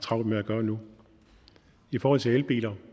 travlt med at gøre nu i forhold til elbiler